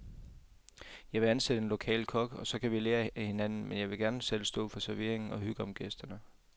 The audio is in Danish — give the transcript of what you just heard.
Jeg vil ansætte en lokal kok, og så kan vi lære af hinanden, men jeg vil gerne selv stå for servering og hygge om gæsterne.